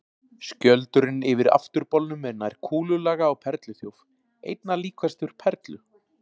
Skjöldurinn yfir afturbolnum er nær kúlulaga á perluþjóf, einna líkastur perlu.